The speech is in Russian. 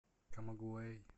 камагуэй